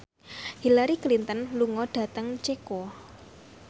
Hillary Clinton lunga dhateng Ceko